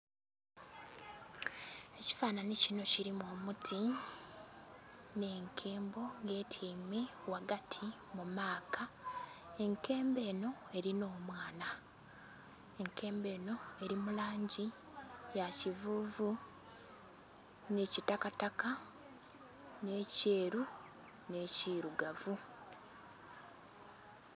Ekifananhi kinho kilimu omuti nhe enkembo nga etyaime ghagati mu maaka, enkembo enho elinha omwana enkembo enho ya kivuvu nhi kitakataka nhe kyeru nhe kirugavu.